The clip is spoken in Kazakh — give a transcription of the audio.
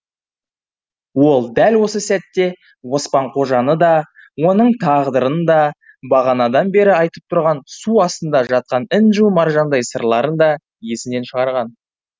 ол дәл осы сәтте оспан қожаны да оның тағдырын да бағанадан бері айтып тұрған су астында жатқан інжу маржандай сырларын да есінен шығарған